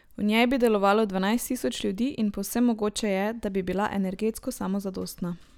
V njej bi delalo dvanajst tisoč ljudi in povsem mogoče je, da bi bila energetsko samozadostna.